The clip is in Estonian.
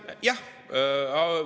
Aitäh!